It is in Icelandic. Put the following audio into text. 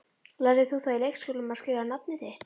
Lærðir þú það í leikskólanum, að skrifa nafnið þitt?